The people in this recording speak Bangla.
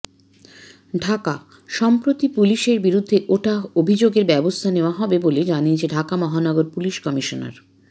ঢাকাঃ সম্প্রতি পুলিশের বিরুদ্ধে ওঠা অভিযোগের ব্যবস্থা নেওয়া হবে বলে জানিয়েছেন ঢাকা মহানগর পুলিশ কমিশনার